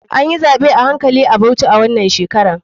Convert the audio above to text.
Anyi zaɓe a hankali a bauchi wanan shekarar.